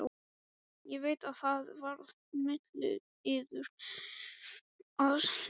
Ég veit að það var milliliður að sniglast þarna.